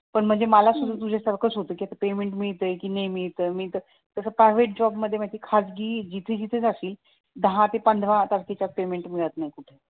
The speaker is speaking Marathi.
पण म्हणजे मला तुझ्यासारखाच होत पेमेंट मिळतंय कि नाही मिळतंय मिळतं तसं प्रायव्हेट जॉब मध्ये म्हणजे खाजगी जिथे जिथे जाशील दहा ते पंधरा शिवाय पेमेंट मिळत नाही कुठं